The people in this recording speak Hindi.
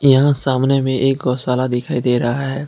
यहां सामने में एक गौशाला दिखाई दे रहा है।